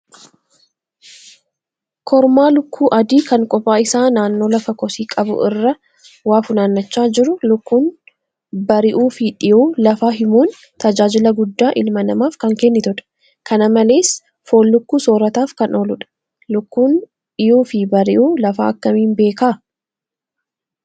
Kormaa lukkuu adii kan kophaa isaa naannoo lafa kosii qabu irraa waa funaannachaa jiru. Lukkuun bari'uu fi dhiyuu lafaa himuun tajaajila guddaa ilma namaaf kan kennitudha. Kana malees foon lukkuu soorataaf kan ooludha. Lukkuun dhiyuu fi bari'uu lafaa akkamiin beeka?